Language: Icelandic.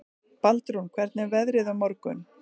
Baldrún, hvernig er veðrið á morgun?